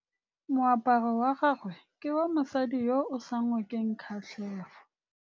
Moaparô wa gagwe ke wa mosadi yo o sa ngôkeng kgatlhegô.